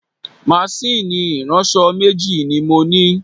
Máṣíìnì ìránṣọ̀ méjì ni mo ní